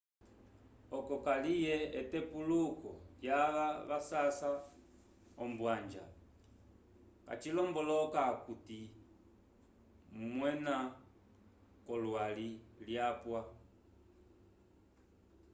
oco kaliye etepuluko lyava vasasa ombwanja acilomboloka okuti owema k'olwali lwapwa